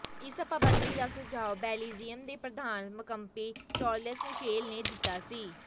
ਇਸ ਪਾਬੰਦੀ ਦਾ ਸੁਝਾਅ ਬੈਲਜ਼ੀਅਮ ਦੇ ਪ੍ਰਧਾਨ ਮੰਕਪੀ ਚਾਰਲਸ ਮਿਸ਼ੇਲ ਨੇ ਦਿੱਤਾ ਸੀ